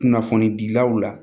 Kunnafoni bilaw la